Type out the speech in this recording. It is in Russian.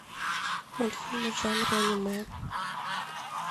мультфильмы в жанре аниме